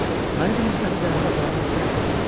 Məni birinci dəfə dənizə aparanda neçə yaşım vardı?